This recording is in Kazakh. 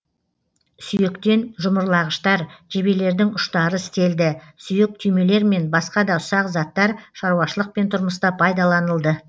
сүйектен жұмырлағыштар жебелердің ұштары істелді сүйек түймелер мен баска да ұсақ заттар шаруашылық пен тұрмыста пайдаланылды